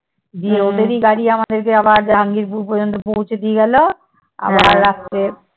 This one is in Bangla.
গিয়ে ওদেরই গাড়ী আমাদেরকে আবার জাহাঙ্গীর পুর পর্যন্ত পৌঁছে দিয়ে গেলো। আবার রাত্রে